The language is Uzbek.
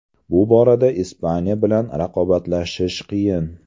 Bu borada Ispaniya bilan raqobatlashish qiyin.